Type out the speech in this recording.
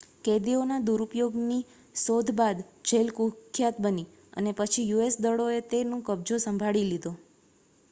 કેદીઓના દુરુપયોગની શોધ બાદ જેલ કુખ્યાત બની અને પછી યુએસ દળોએ તે નું કબજો સંભાળી લીધો